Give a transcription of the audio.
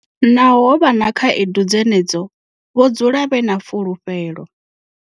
Naho ho vha na khaedu dzenedzo, vho dzula vhe na fulufhelo.